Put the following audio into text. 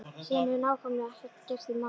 Síðan hefur nákvæmlega ekkert gerst í málinu.